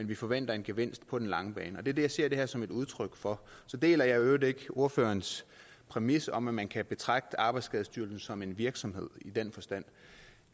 vi forventer en gevinst på den lange bane og det er det ser det her som et udtryk for så deler jeg i øvrigt ikke ordførerens præmis om at man kan betragte arbejdsskadestyrelsen som en virksomhed i den forstand